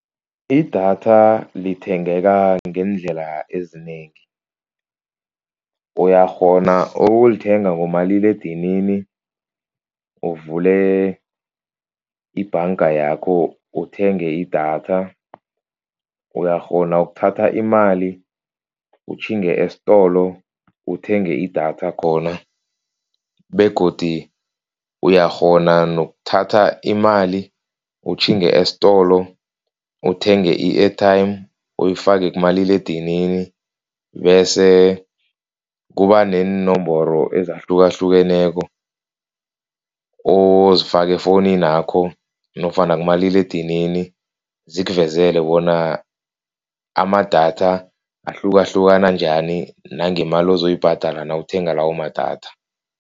Idatha lithengeka ngeendlela ezinengi. Uyakghona ukulithenga ngomaliledinini uvule ibhanga yakho uthenge idatha. Uyakghona ukuthatha imali utjhinge estolo uthenge idatha khona begodu uyakghona nokuthatha imali utjhinge estolo uthenge i-airtime. Uyifake kumaliledinini bese kuba neenomboro ezahlukahlukeneko ozifaka efowuninakho nofana kumaliledinini. Zikuvezele bona amadatha ahlukahlukana njani nangemali uzoyibhadala nawuthenga lawo madatha.